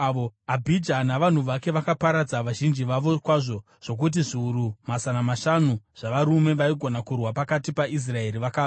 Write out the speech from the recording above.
Abhija navanhu vake vakaparadza vazhinji vavo kwazvo, zvokuti zviuru mazana mashanu zvavarume vaigona kurwa pakati paIsraeri vakafa.